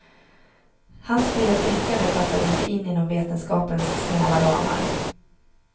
Hans fria tänkande passade inte in inom vetenskapens snäva ramar.